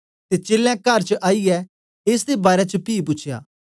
ते चेलें कर च आईयै एस दे बारै च पी पूछ्या